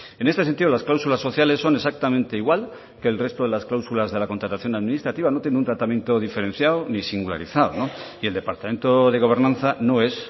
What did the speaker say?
en este sentido las cláusulas sociales son exactamente igual que el resto de las cláusulas de la contratación administrativa no tiene un tratamiento diferenciado ni singularizado y el departamento de gobernanza no es